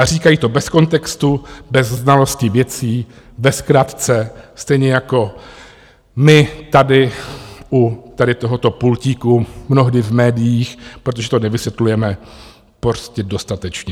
A říkají to bez kontextu, bez znalosti věcí, ve zkratce, stejně jako my tady u tohoto pultíku, mnohdy v médiích, protože to nevysvětlujeme prostě dostatečně.